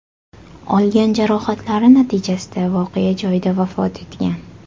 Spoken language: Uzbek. olgan jarohatlari natijasida voqea joyida vafot etgan.